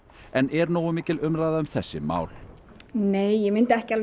en er nógu mikil umræða um þessi mál nei ég myndi ekki